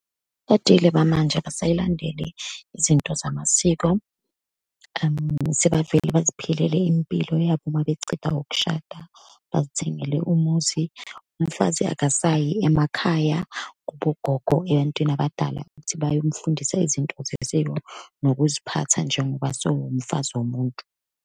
bamanje abasayilandeli izinto zamasiko, sebavele baziphilile impilo yabo uma beceda ukushada, bazithengele umuzi. Umfazi akasayi emakhaya kubogogo, ebantwini abadalab ukuthi bayomfundisa izinto zesiko nokuziphatha, njengoba sewumfazi womuntu.